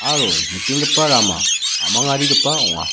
aro nikenggipa rama a·mangarigipa ong·a.